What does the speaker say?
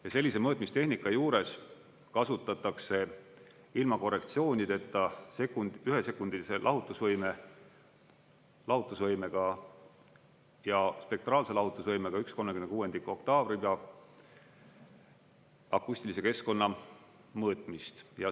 Ja sellise mõõtmistehnika juures kasutatakse ilma korrektsioonideta ühesekundilise lahutusvõimega ja spektraalse lahutusvõimega 1/36 oktaavribaga akustilise keskkonna mõõtmist.